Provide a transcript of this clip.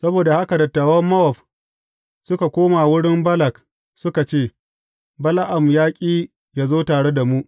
Saboda haka dattawan Mowab suka koma wurin Balak suka ce, Bala’am ya ƙi yă zo tare da mu.